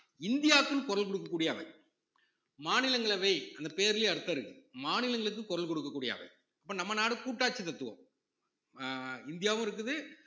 இந்தியாக்குன்னு குரல் கொடுக்கக் கூடிய அவை மாநிலங்களவை அந்த பேர்லயே அர்த்தம் இருக்கு மாநிலங்களுக்கு குரல் கொடுக்கக் கூடிய அவை அப்ப நம்ம நாடு கூட்டாட்சி தத்துவம் அஹ் இந்தியாவும் இருக்குது